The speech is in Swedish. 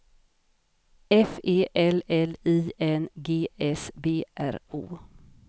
F E L L I N G S B R O